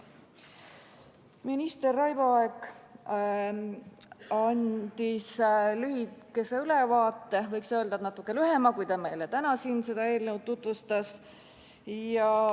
Minister Raivo Aeg andis lühikese ülevaate – võiks öelda, et natuke lühema, kui meile täna siin seda eelnõu tutvustades.